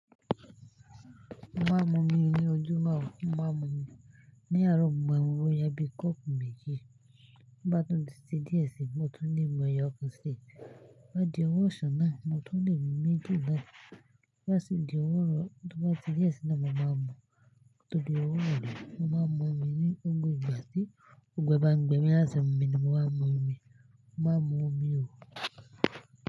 Mo ma n mu omi ni ojúmọ́, mo ma n mu omi. Ní àárọ̀, mo ma n mu boya bi kọ́ọ̀pù méjì. To baá tún ti se díẹ̀ sí, mo tún le mu ẹyọkan sí. Ko di ọwọ́ ọsàn náà, mo tún le mu méjì náà. Bá sì di ọwọ́ rọ, tò bá di díẹ̀ sí náà, máa ma bo. Tò di ọwọ́ nù, mma mu omi ni ogún igba sí. Ó gbe ba n gbẹ mí lásán, mma mu omi. Mma mu omi o.